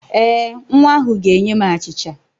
Ee, nwa ahụ ga-enye m achịcha